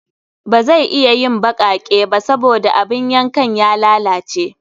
Ba zai iya yin baƙaƙe ba saboda abin yankan ya lalace